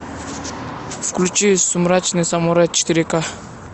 включи сумрачный самурай четыре ка